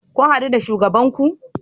Kun hadu da shugaban ku?